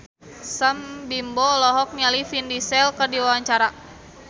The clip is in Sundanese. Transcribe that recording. Sam Bimbo olohok ningali Vin Diesel keur diwawancara